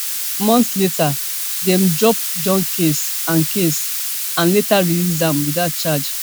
months later dem drop john case and case and later release am without charge